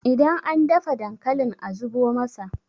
idan an dafa dankalin a zubo masa!